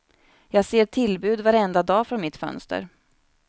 Jag ser tillbud varenda dag från mitt fönster.